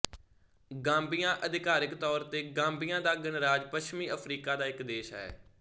Gambia ਅਧਿਕਾਰਕ ਤੌਰ ਤੇ ਗਾਂਬੀਆ ਦਾ ਗਣਰਾਜ ਪੱਛਮੀ ਅਫ਼ਰੀਕਾ ਦਾ ਇੱਕ ਦੇਸ਼ ਹੈ